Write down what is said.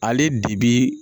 Ale bi bi